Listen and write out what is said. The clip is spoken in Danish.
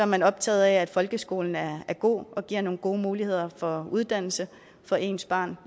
man optaget af at folkeskolen er god og giver nogle gode muligheder for uddannelse for ens børn